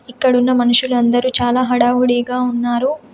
ఇక్కడున్న మనుషులందరూ చాలా హడావుడిగా ఉన్నారు.